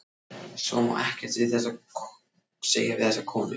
Svo má ekkert segja við þessa konu.